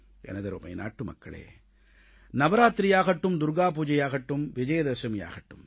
எனதருமை நாட்டுமக்களே நவராத்திரியாகட்டும் துர்க்கா பூஜையாகட்டும் விஜயதசமியாகட்டும்